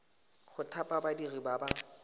go thapa badiri ba ba